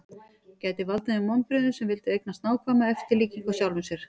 Það gæti valdið þeim vonbrigðum sem vildu eignast nákvæma eftirlíkingu af sjálfum sér.